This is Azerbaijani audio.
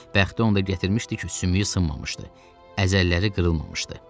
Bəxti onu da gətirmişdi ki, sümüyü sınmamışdı, əzəlləri qırılmamışdı.